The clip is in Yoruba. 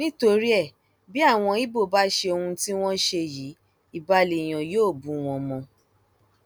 nítorí ẹ bí àwọn ibo bá ṣe ohun tí wọn ṣe yìí ibà lèèyàn yọ bù wọn mọ